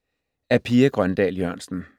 Af Pia Grøndahl Jørgensen